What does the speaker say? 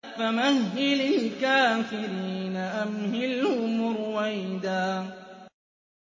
فَمَهِّلِ الْكَافِرِينَ أَمْهِلْهُمْ رُوَيْدًا